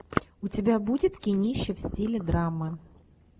у тебя будет кинище в стиле драмы